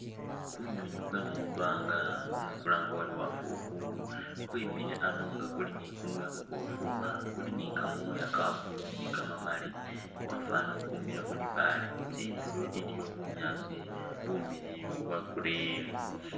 Kunywinywi kwe mwibaanga namwe kulange uri wafukhuulu, kwemile ano nga kuli ni ikunwa ikhuboofu, kuli ni kamooya ka blue ni kamamali kwafwanile uli ukwimiile khu libaale. Tsindulo iliyo bunyaasi bumiliyu bwa green.